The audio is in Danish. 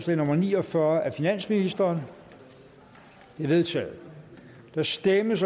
nummer ni og fyrre af finansministeren det er vedtaget der stemmes